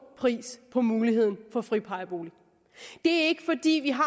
pris på muligheden for friplejebolig det er ikke fordi vi har